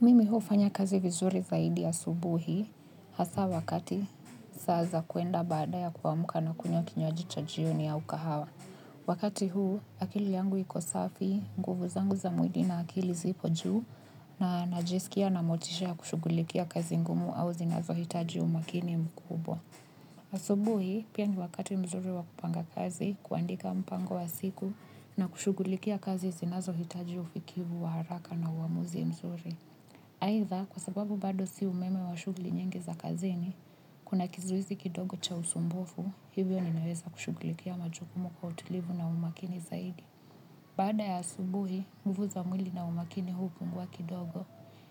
Mimi hufanya kazi vizuri zaidi asubuhi hasa wakati saa za kuenda baada ya kuamka na kunywaji cha jioni au kahawa. Wakati huu akili yangu iko safi, nguvu zangu za mwili na akili zipo juu na najisikia na motisha ya kushughulikia kazi ngumu au zinazohitaji umakini mkubwa. Asubuhi pia ni wakati mzuri wa kupanga kazi, kuandika mpango wa siku na kushughulikia kazi zinazohitaji ufikivu wa haraka na uamuzi mzuri. Aitdha, kwa sababu bado si umeme wa shughuli nyingi za kazini, kuna kizuizi kidogo cha usumbufu, hivyo ninaeza kushughulikia majukumu kwa utulivu na umakini zaidi. Baada ya asubuhi, nguvu za mwili na umakini hupungua kidogo,